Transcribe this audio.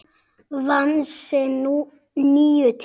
Fram vann sinn níunda titil.